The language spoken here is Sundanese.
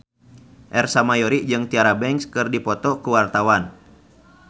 Ersa Mayori jeung Tyra Banks keur dipoto ku wartawan